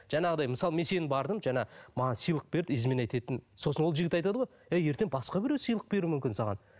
жаңағыдай мысалы мен сені бардым жаңа маған сыйлық берді изменять еттім сосын ол жігіт айтады ғой әй ертең басқа біреу сыйлық беруі мүмкін саған